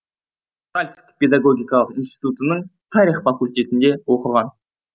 уральск педагогикалық институтының тарих факультетінде оқыған